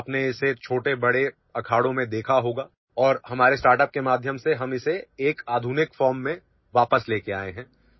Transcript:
আপুনি নিশ্চয় সৰুবৰ ক্ষেত্ৰত ইয়াক দেখিছে আৰু আমাৰ ষ্টাৰ্টআপৰ জৰিয়তে আমি ইয়াক আধুনিক ৰূপলৈ ঘূৰাই আনিছো